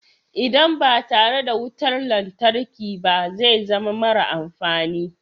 Idan ba tare da wutar lantarki ba zai zama mara amfani.